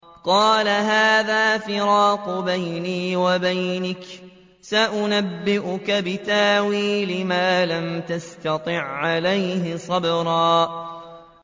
قَالَ هَٰذَا فِرَاقُ بَيْنِي وَبَيْنِكَ ۚ سَأُنَبِّئُكَ بِتَأْوِيلِ مَا لَمْ تَسْتَطِع عَّلَيْهِ صَبْرًا